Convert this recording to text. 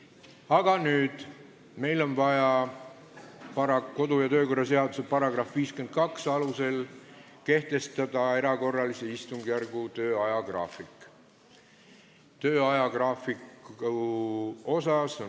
Aga nüüd on meil vaja kodu- ja töökorra seaduse § 52 alusel kehtestada erakorralise istungjärgu töö ajagraafik.